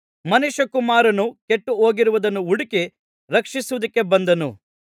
ಮನುಷ್ಯಕುಮಾರನು ಕೆಟ್ಟು ಹೋಗಿರುವುದನ್ನು ಹುಡುಕಿ ರಕ್ಷಿಸುವುದಕ್ಕೆ ಬಂದನು